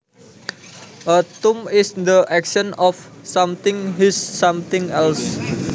A thump is the action of something hits something else